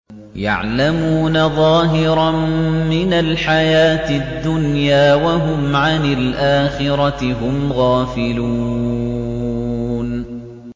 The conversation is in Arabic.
يَعْلَمُونَ ظَاهِرًا مِّنَ الْحَيَاةِ الدُّنْيَا وَهُمْ عَنِ الْآخِرَةِ هُمْ غَافِلُونَ